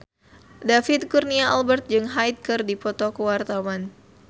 David Kurnia Albert jeung Hyde keur dipoto ku wartawan